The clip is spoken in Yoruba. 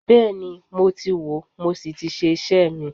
Bẹ́ẹ̀ni, mo ti wòó mo sì ti ṣe iṣẹ́ mi